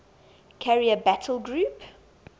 carrier battle group